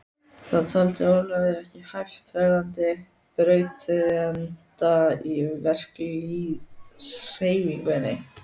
Það taldi Ólafur ekki hæfa verðandi brautryðjanda í verkalýðshreyfingunni.